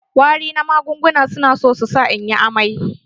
Wari na magunguna su na so su sa inyi amai.